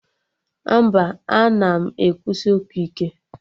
Mba, ana m ekwusi okwu ike